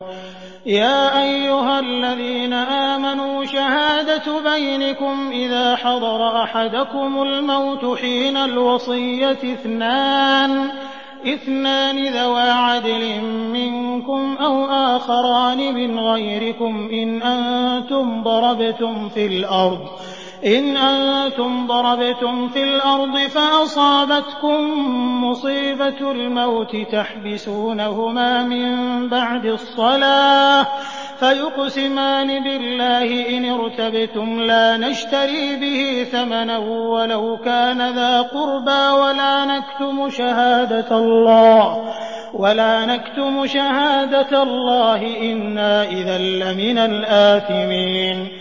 يَا أَيُّهَا الَّذِينَ آمَنُوا شَهَادَةُ بَيْنِكُمْ إِذَا حَضَرَ أَحَدَكُمُ الْمَوْتُ حِينَ الْوَصِيَّةِ اثْنَانِ ذَوَا عَدْلٍ مِّنكُمْ أَوْ آخَرَانِ مِنْ غَيْرِكُمْ إِنْ أَنتُمْ ضَرَبْتُمْ فِي الْأَرْضِ فَأَصَابَتْكُم مُّصِيبَةُ الْمَوْتِ ۚ تَحْبِسُونَهُمَا مِن بَعْدِ الصَّلَاةِ فَيُقْسِمَانِ بِاللَّهِ إِنِ ارْتَبْتُمْ لَا نَشْتَرِي بِهِ ثَمَنًا وَلَوْ كَانَ ذَا قُرْبَىٰ ۙ وَلَا نَكْتُمُ شَهَادَةَ اللَّهِ إِنَّا إِذًا لَّمِنَ الْآثِمِينَ